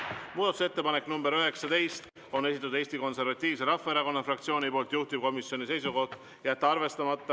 Muudatusettepaneku nr 19 on esitanud Eesti Konservatiivse Rahvaerakonna fraktsioon, juhtivkomisjoni seisukoht on jätta see arvestamata.